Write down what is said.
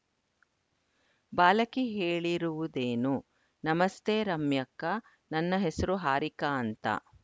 ಬಾಲಕಿ ಹೇಳಿರುವುದೇನು ನಮಸ್ತೆ ರಮ್ಯಕ್ಕಾ ನನ್ನ ಹೆಸರು ಹಾರಿಕಾ ಅಂತ